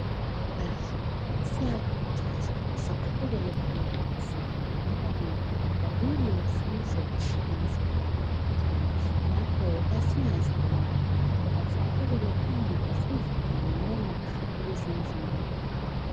Bahlali siyakhuthazwa siqhubekele phambili sihlanyela izihlahla zilusizo emzimbeni yethu ngakho kasingazibulali kodwa asiqhubekele phambili sizihlanyela ukuze imzimba ikhaliphe.